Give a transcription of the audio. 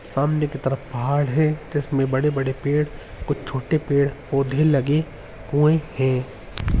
सामने की तरफ पहाड़ है जिसमें बड़े-बड़े पेड़ कुछ छोटे पेड़ पोधे लगे हुए हैं।